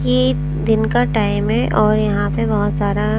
ये दिन का टाइम है और यहाँ पे बहुत सारा--